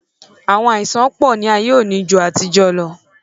Àwọn àìsàn pọ̀ ní ayé òní ju ti àtijó lọ.